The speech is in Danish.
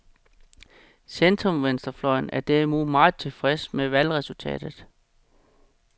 Centrumvenstrefløjen er derimod meget tilfreds med valgresultatet.